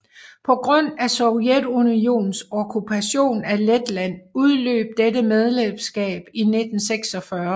På grund af Sovjetunionens okkupation af Letland udløb dette medlemskab i 1946